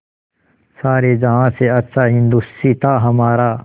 सारे जहाँ से अच्छा हिन्दोसिताँ हमारा